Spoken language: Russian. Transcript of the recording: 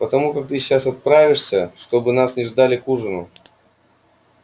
потому как ты сейчас отправишься чтобы нас не ждали к ужину